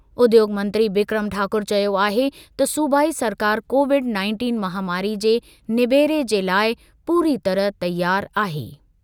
उद्योॻ मंत्री बिक्रम ठाकुर चयो आहे त सूबाई सरकार कोविड-नाइनटीन महामारी जे निबेरे जे लाइ पूरी तरह तयार आहे।